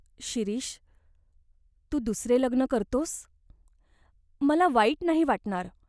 शिरीष, तू दुसरे लग्न करतोस ? मला वाईट नाही वाटणार.